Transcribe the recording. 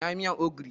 Na yi miyar ogiri.